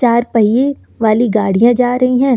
चार पहिए वाली गाड़ियां जा रही है।